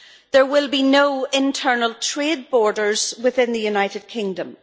there will be no internal trade borders within the United Kingdom.